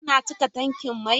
Kuna cika tankin mai?